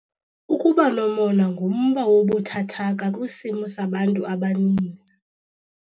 Ukuba nomona ngumba wobuthathaka kwisimo sabantu abaninzi.